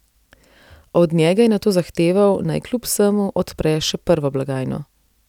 Od njega je nato zahteval, naj kljub vsemu odpre še prvo blagajno.